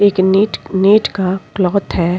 एक neat net का cloth है।